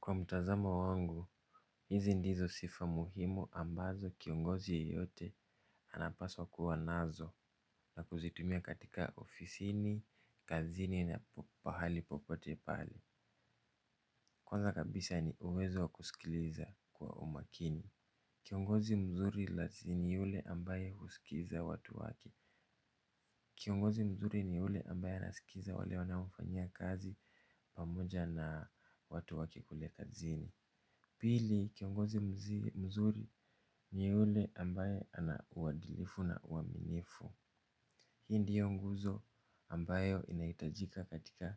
Kwa mtazamo wangu, hizi ndizo sifa muhimu ambazo kiongozi yeyote anapaswa kuwa nazo na kuzitumia katika ofisini, kazini na pahali popote pale. Kwanza kabisa ni uwezo wa kusikiliza kwa umakini. Kiongozi mzuri ni yule ambaye huskiza watu wake. Kiongozi mzuri ni yule ambaye naskiza wale wanaomfanyia kazi pamoja na watu wake kule kazini. Pili, kiongozi mzuri ni ule ambaye ana uadilifu na uaminifu. Hii ndiyo nguzo ambayo inaitajika katika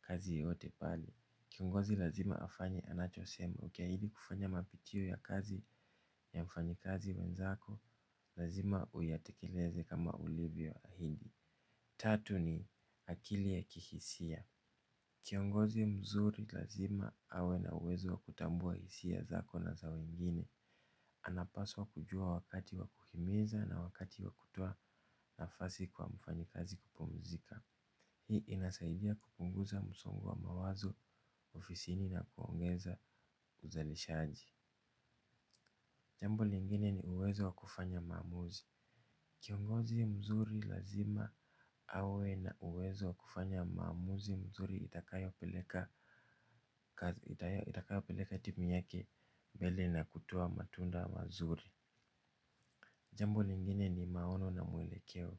kazi yoyote pale. Kiongozi lazima afanye anachosema, ukiahidi kufanya mapitio ya kazi ya mfanyikazi wenzako lazima uyatekeleze kama ulivyo ahidi. Tatu ni akili ya kihisia. Kiongozi mzuri lazima awe na uwezo wa kutambua hisia zako na za wengine. Anapaswa kujua wakati wa kuhimiza na wakati wa kutoa nafasi kwa mfanyikazi kupumzika. Hii inasaidia kupunguza msongo wa mawazo ofisini na kuongeza uzalishaji. Jambo lingine ni uwezo wa kufanya maamuzi. Kiongozi mzuri lazima awe na uwezo wa kufanya maamuzi mzuri itakayo peleka timu yake mbele na kutoa matunda mazuri. Jambo lingine ni maono na mwelekeo.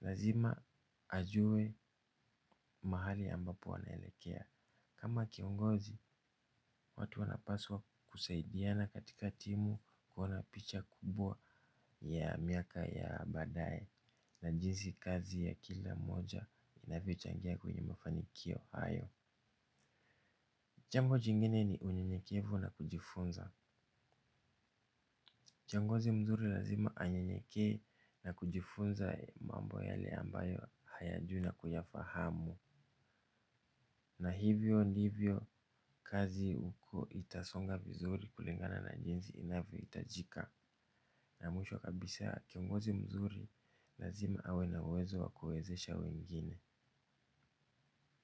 Lazima ajue mahali ambapo anaelekea. Kama kiongozi, watu wanapaswa kusaidiana katika timu kuona picha kubwa ya miaka ya baadaye. Na jinsi kazi ya kila moja inavyo changia kwenye mafanikio hayo. Jambo jingine ni unyenyekevu na kujifunza. Kiongozi mzuri lazima anyenyekee na kujifunza mambo yale ambayo hayajui na kuyafahamu. Na hivyo ndivyo kazi huko itasonga vizuri kulingana na jinzi inavyohitajika. Na mwisho kabisa kiongozi mzuri. Lazima awe na uwezo wa kuwezesha wengine.